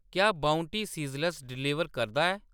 क्या bounty sizzler deliver करदा ऐ